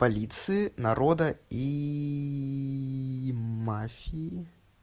полиции народа ии мафии